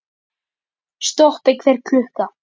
Stoppi hver klukka!